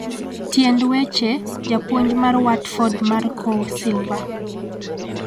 tiend weche, japuonj mar Watford Marco Silva